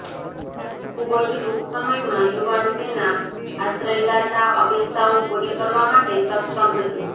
ખૂબ જ ટૂંક સમયમાં યુવાન તેના આશ્રયદાતા અપેક્ષાઓ પૂરી કરવા માટે સક્ષમ હતી